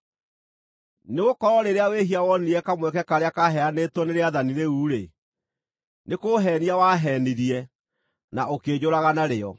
Nĩgũkorwo rĩrĩa wĩhia wonire kamweke karĩa kaaheanĩtwo nĩ rĩathani rĩu-rĩ, nĩ kũũheenia waheenirie, na ũkĩnjũraga narĩo.